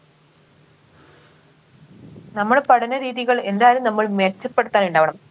നമ്മടെ പഠന രീതികൾ എന്തായാലും നമ്മൾ മെച്ചപ്പെടുത്താൻ ഉണ്ടാവണം